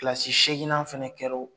Kilasi seeginnan fana kɛra o